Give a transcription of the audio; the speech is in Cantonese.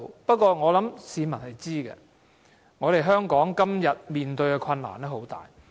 不過，我想市民知道，香港今天面對的困難很大。